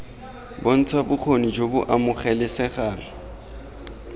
bontsha bokgoni jo bo amogelesegang